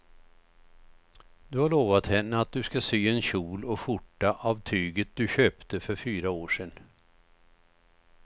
Du har lovat henne att du ska sy en kjol och skjorta av tyget du köpte för fyra år sedan.